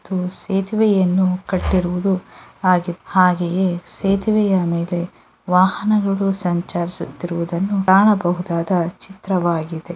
ಇಲ್ಲಿ ಸೇತುವೆಯನ್ನು ಕಟ್ಟಿರುವುದು ಹಾಗು ಹಾಗೆಯೇ ಸೇತುವೆಯ ಮೇಲೆ ವಾಹನಗಳು ಸಂಚರಿಸುವುದನ್ನು ಕಾಣಬಹುದಾದ ಚಿತ್ರವಾಗಿದೆ.